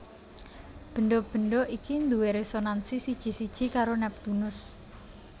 Bendha bendha iki duwé résonansi siji siji karo Neptunus